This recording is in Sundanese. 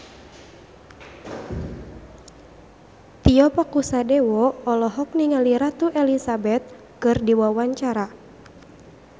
Tio Pakusadewo olohok ningali Ratu Elizabeth keur diwawancara